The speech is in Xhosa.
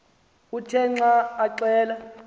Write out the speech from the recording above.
uthe xa axela